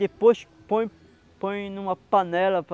Depois põe põe em numa panela.